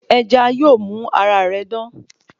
Ẹja yóò mú ara rẹ dán